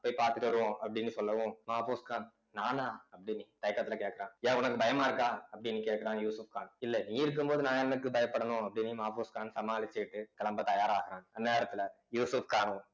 போய் பார்த்துட்டு வருவோம் அப்படின்னு சொல்லவும் மாபோஸ்கான் நானா அப்படின்னு தயக்கத்துல கேட்கிறான் ஏன் உனக்கு பயமா இருக்கா அப்படின்னு கேட்கிறான் யூசுப்கான் இல்ல நீ இருக்கும்போது நான் எதுக்கு பயப்படணும் அப்படின்னு மாபோஸ்கான் சமாளிச்சுட்டு கிளம்ப தயாராகுறாங்க அந்நேரத்துல யூசுப்காணும்